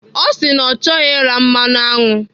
Ọ sị na ọ chọghị ira mmanụ aṅụ.